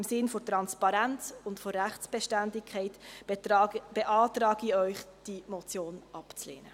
Im Sinn von Transparenz und Rechtsbeständigkeit beantrage ich Ihnen, die Motion abzulehnen.